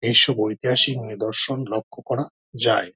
এইসব ইতিহাসিক নিদর্শন লক্ষ করা যায়।